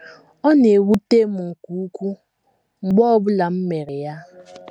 Ọ na - ewute m nke ukwuu mgbe ọ bụla m mere ya.